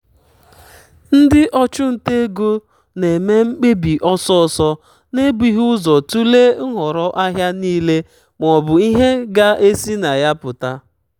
ndị ọchụnta ego na-me mkpebi ọsọsọ na-ebughị ụzọ tụlee nhọrọ ahịa niile maọbụ ihe ga-esi na ya pụta.